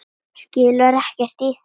Skilur ekkert í þessu.